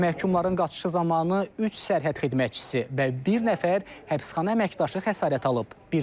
Məhkumların qaçışı zamanı üç sərhəd xidmətçisi və bir nəfər həbsxana əməkdaşı xəsarət alıb.